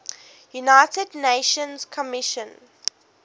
united nations commission